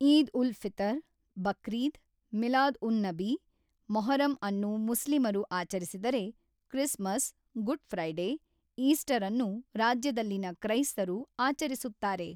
ಈದ್-ಉಲ್-ಫಿತರ್, ಬಕ್ರೀದ್, ಮಿಲಾದ್-ಉನ್-ನಬಿ, ಮೊಹರಂ ಅನ್ನು ಮುಸ್ಲಿಮರು ಆಚರಿಸಿದರೆ, ಕ್ರಿಸ್ಮಸ್, ಗುಡ್ ಫ್ರೈಡೇ, ಈಸ್ಟರ್ ಅನ್ನು ರಾಜ್ಯದಲ್ಲಿನ ಕ್ರೈಸ್ತರು ಆಚರಿಸುತ್ತಾರೆ.